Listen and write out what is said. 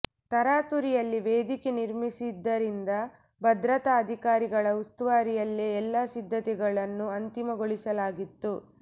ತರಾತುರಿಯಲ್ಲಿ ವೇದಿಕೆ ನಿರ್ಮಿಸಿದ್ದರಿಂದ ಭದ್ರತಾ ಅಧಿಕಾರಿಗಳ ಉಸ್ತುವಾರಿಯಲ್ಲೇ ಎಲ್ಲ ಸಿದ್ಧತೆಗಳನ್ನು ಅಂತಿಮಗೊಳಿಸಲಾಗಿತ್ತು